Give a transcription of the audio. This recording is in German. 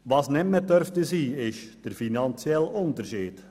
Was nicht mehr sein darf, ist der finanzielle Unterschied.